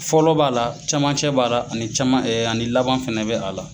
Fɔlɔ b'a la camancɛ b'a la ani caman ani laban fɛnɛ bɛ a la.